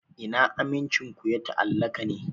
Ina amincin ku ya ta'allaka ne?